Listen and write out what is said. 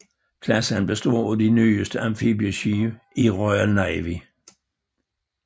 Klassen består af de nyeste amfibieskibe i Royal Navy